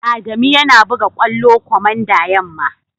Adamu yana buga kwallo komanda yamma.